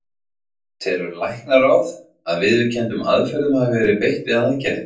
Telur læknaráð, að viðurkenndum aðferðum hafi verið beitt við aðgerðina?